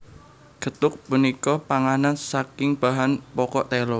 Gethuk punika panganan saking bahan pokok tela